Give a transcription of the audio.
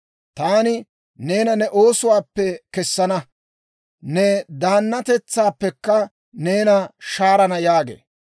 Taani neena ne oosuwaappe kessana; ne daannatetsaappekka neena shaarana› yaaga.